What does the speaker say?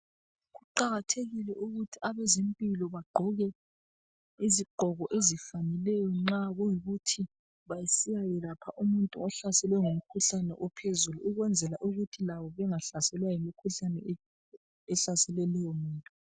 Kuqakathekile ukuthi abezempilo bagqoke izigqoko ezifaneleyo nxa kuyikuthi besiyayelapha umuntu ohlaselwe ngumkhuhlane ophezulu, ukwenzela ukuthi labo bengahlaselwa yimikhuhlani ehlasele lowu muntu.